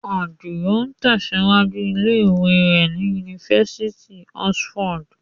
Àdìò tẹ̀síwájú ilé ìwé rẹ̀ ní Yunifásitì Oxford.